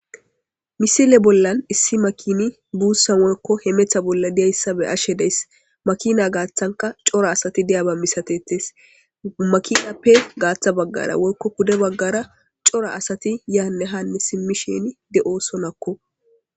misile bollan issi makini buussa morkko hemetha bolla diyayssa be ashe deyss makina gaaththanka cora asati deyaba misatetes makinappe gaaththa baggara woykko pude baggara cora asati yaanne hanne simmisheni de7oosonakko